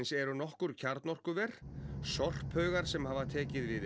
eru nokkur kjarnorkuver sorphaugar sem hafa tekið við